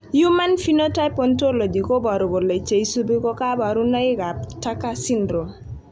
Human Phenotype Otology koboru kole cheisubi ko kabarunoik ab Tucker Syndrome